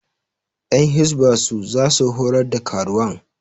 Ƴan hisba su za su horar da karuwan